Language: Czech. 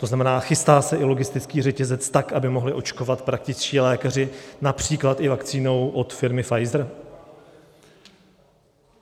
To znamená, chystá se i logistický řetězec, tak aby mohli očkovat praktičtí lékaři, například i vakcínou od firmy Pfizer?